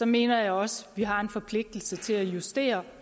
mener jeg også vi har en forpligtelse til at justere